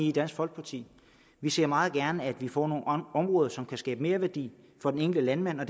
i dansk folkeparti vi ser meget gerne at vi får nogle områder som kan skabe merværdi for den enkelte landmand og